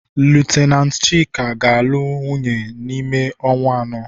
lieutenanti Chika ga-alụ wunye n'ime ọnwa anọ.